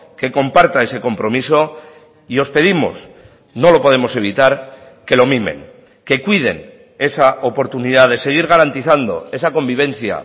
que comparta ese compromiso y os pedimos no lo podemos evitar que lo mimen que cuiden esa oportunidad de seguir garantizando esa convivencia